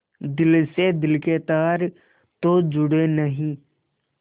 दिल से दिल के तार तो जुड़े नहीं